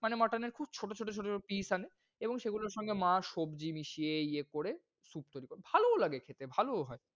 মানে mutton এর খুব ছোট ছোট piece আনে এবং সে গুলোর সঙ্গে মা সব্জি মিশিয়ে ইয়ে করে soup তৈরি করে। ভালোও লাগে খেতে ভালোও হয়।